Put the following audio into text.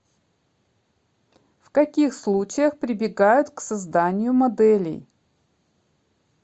в каких случаях прибегают к созданию моделей